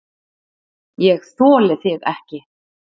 ÉG ÞOLI ÞIG EKKI!